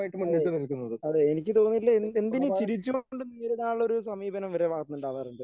അതെ അതെ എനിക്ക് തോന്നിയിട്ടുള്ളത് എന്ത് എന്തിനെയും ചിരിച്ചുകൊണ്ട് നേരിടാനുള്ള ഒരു സമീപനം